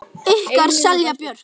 Ykkar Silja Björk.